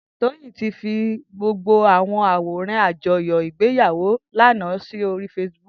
Toyin ti fi gbógbó àwóràn àjóyó igbéyàwó àná sóri fésibúk